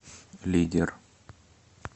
лидер